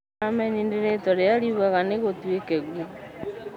Ameni nĩ rĩtwa rĩrĩa riugaga na gũtuĩke guo